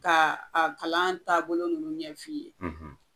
Ka a kalan taabolo ninnu ɲɛfin ye